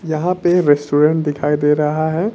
यहां पे रेस्टोरेंट दिखाई दे रहा है।